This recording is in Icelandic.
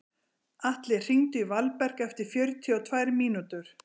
Atli, hringdu í Valberg eftir fjörutíu og tvær mínútur.